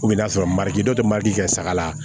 n'a sɔrɔ mali dɔ te mari fɛ saga la